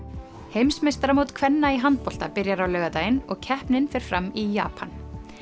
heimsmeistaramót kvenna í handbolta byrjar á laugardaginn og keppnin fer fram í Japan